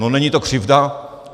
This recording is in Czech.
No není to křivda?